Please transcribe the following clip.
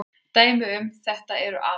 Dæmi um þetta eru atóm.